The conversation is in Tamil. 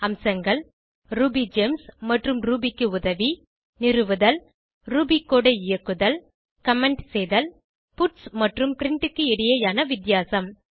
அம்சங்கள் ரூபிகெம்ஸ் மற்றும் ரூபி க்கு உதவி நிறுவுதல் ரூபி கோடு ஐ இயக்குதல் கமெண்ட் செய்தல் பட்ஸ் மற்றும் பிரின்ட் க்கு இடையேயான வித்தியாசம்